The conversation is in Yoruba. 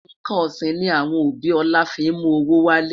nkán osin ni awọn obi ola fi mú owó wale